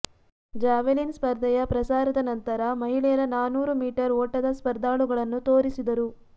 javelin ಸ್ಪರ್ಧೆಯ ಪ್ರಸಾರದ ನಂತರ ಮಹಿಳೆಯರ ನಾನೂರು ಮೀಟರ್ ಓಟದ ಸ್ಪರ್ಧಾಳುಗಳನ್ನು ತೋರಿಸಿದರು